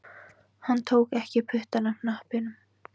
Hann tók ekki puttann af hnappinum